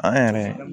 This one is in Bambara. An yɛrɛ